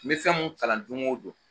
N be fɛn mun kalan dongo don